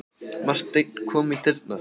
Marteinn kom í dyrnar.